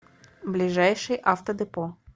ближайший автодепо